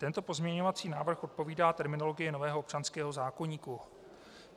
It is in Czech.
Tento pozměňovací návrh odpovídá terminologii nového občanského zákoníku.